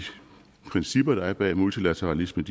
principper der er bag multilateralismen